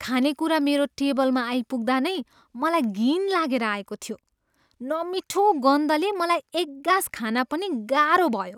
खानेकुरा मेरो टेबलमा आइपुग्दा नै मलाई घिन लागेर आएको थियो। नमिठो गन्धले मलाई एक गाँस खान पनि गाह्रो भयो।